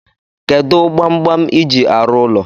Kedu kpamkpam iji arụ ụlọ?